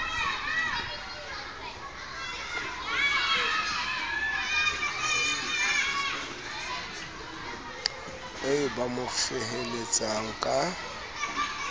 eo ba mo feheletsang ka